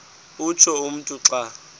utsho umntu xa